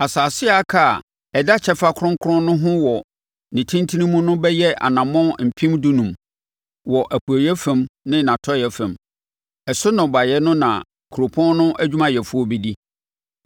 Asase a aka a ɛda kyɛfa kronkron no ho wɔ ne tentene mu no bɛyɛ anammɔn mpem dunum (15,000) wɔ nʼapueeɛ fam ne nʼatɔeɛ fam. Ɛso nnɔbaeɛ no na kuropɔn no adwumayɛfoɔ bɛdi.